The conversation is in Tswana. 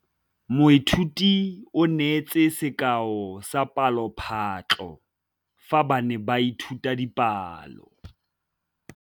Moithuti o neetse sekaô sa palophatlo fa ba ne ba ithuta dipalo.